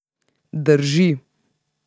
Drži.